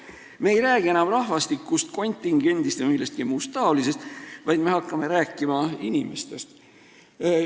Me ei räägi enam rahvastikust, kontingendist ja millestki muust taolisest, vaid me hakkame rääkima inimestest.